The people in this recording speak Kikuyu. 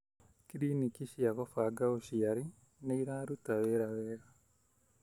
Kliniki cia gubanga ũciari nĩ ciraruta wĩra mwega.